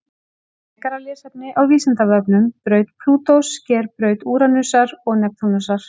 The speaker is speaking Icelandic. Frekara lesefni á Vísindavefnum: Braut Plútós sker braut Úranusar og Neptúnusar.